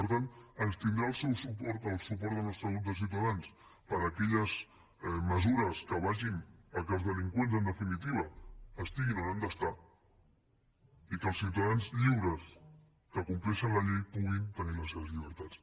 per tant ens tindrà al seu suport el suport del nostre grup de ciutadans per a aquelles mesures que vagin al fet que els delinqüents en definitiva estiguin on han d’estar i que els ciutadans lliures que compleixen la llei puguin tenir les seves llibertats